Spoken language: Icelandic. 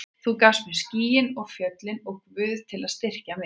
Þú gafst mér skýin og fjöllin og Guð til að styrkja mig.